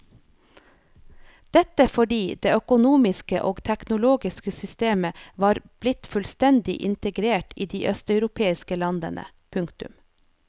Dette fordi det økonomiske og teknologiske systemet var blitt fullstendig integrert i de østeuropeiske landene. punktum